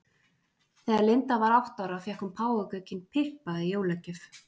Þegar Linda var átta ára fékk hún páfagaukinn Pippa í jólagjöf.